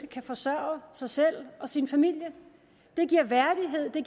kan forsørge sig selv og sin familie det giver værdighed og det